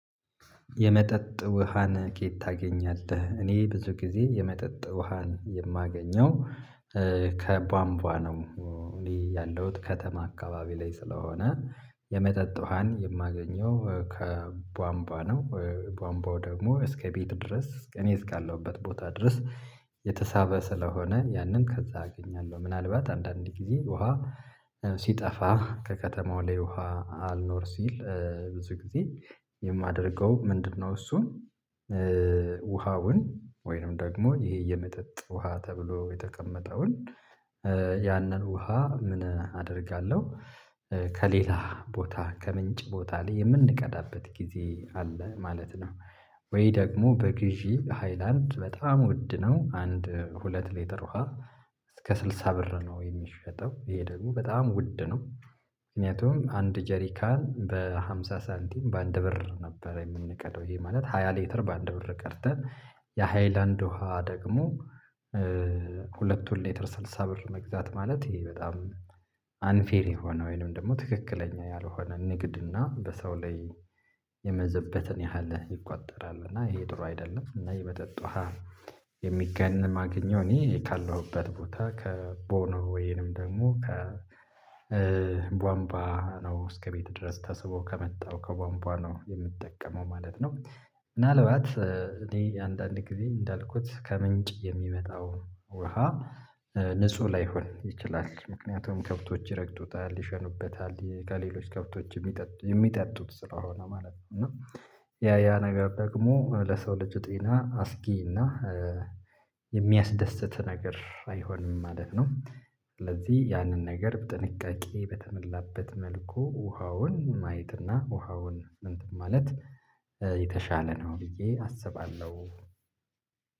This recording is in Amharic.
የመጠጥ ውሃን ከየት ታገኛለህ? እኔ ብዙ ጊዜ የመጠጥ ውሃን የማገኘው ከቧንቧ ነው። እኔ ያለሁት ከተማ አካባቢ ላይ ስለሆነ የመጠጥ ውሃን የማገኘው ከቧንቧ ነው። ቧንቧው ደግሞ እስከ ቤት ድረስ እኔ እስካለሁበት ቦታ ድረስ የተሳበ ስለሆነ ያንን ከዛ አገኛለሁ። ምናልባት አንዳንድ ጊዜ ውሃ ሲጠፋ ከከተማው ላይ ውሃ አልኖር ሲል ብዙ ጊዜ የማደርገው ምንድነው? እሱን ውሃውን ወይንም ደግሞ ይሄ የመጠጥ ውሃ ተብሎ የተቀመጠውን ያንን ውሃ ምን አደርጋለሁ ከሌላ ቦታ ከምንጭ ቦታ ላይ የምንቀዳበት ጊዜ አለ ማለት ነው። ወይ ደግሞ በግዢ ሃይላንድ በጣም ውድ ነው አንድ ሁለት ሊትር ውሃ እስከ ስልሳ ብር ነው የሚሸጠው ይሄ ደግሞ በጣም ውድ ነው። ምክንያቱም አንድ ጀሪካን በሃምሳ ሳንቲም በአንድ ብር ነበረ የምንቀዳው ይሄ ማለት ሃያ ሌተር በአንድ ብር ቀርተን። የሃይላንድ ውሃ ደግሞ ሁለቱን ሌተር ስልሳ ብር መግዛት ማለት። ይሄ በጣም አንፌር የሆነ ወይንም ደግሞ ትክክለኛ ያልሆነ ንግድ እና በሰው ላይ የመዘበተን ያህል ይቆጠራል እና ይሄ ጥሩ አይደለም። እና የመጠጥ ውሃ የሚገንም የማገኘው እኔ ካለሁበት ቦታ ከቦኖ ወይንም ደግሞ ከቧንቧ ነው እስከ ቤት ድረስ ተስቦ ከመጣው ከቧንቧ ነው የምጠቀመው ማለት ነው። ምናልባት እኔ አንዳንድ ጊዜ እንዳልኩት ከምንጭ የሚመጣው ውሃ ንጹህ ላይሆን ይችላል ምክንያቱም ከብቶች ይረግጡታል ይሸኑበታል ከሌሎች ከብቶች የሚጠጡት ስለሆነ ማለት ነው። እና ያ ያ ነገር ደግሞ ለሰው ልጅ ጤና አስጊና የሚያስደስት ነገር አይሆንም ማለት ነው። ስለዚህ ያንን ነገር ጥንቃቄ በተመላበት መልኩ ውሃውን ማየት እና ውሃውን እንትን ማለት የተሻለ ነው ብዬ አስባለሁ።